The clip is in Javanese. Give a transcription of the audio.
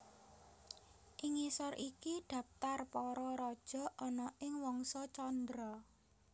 Ing ngisor iki dhaptar para raja ana ing Wangsa Candra